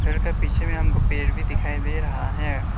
घर के पीछे में हमको पेड़ भी दिखाई दे रहा है।